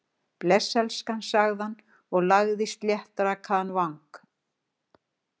Bless, elskan- sagði hann, lagði sléttrakaðan vang